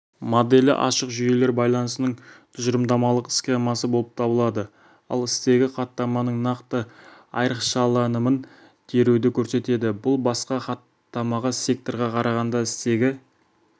моделі ашық жүйелер байланысының тұжырымдамалық схемасы болып табылады ал стегі хаттаманың нақты айрықшаланымын теруді көрсетеді басқа хаттама секторға қарағанда стегі